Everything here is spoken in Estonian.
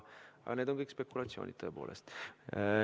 Aga need on kõik spekulatsioonid, tõepoolest.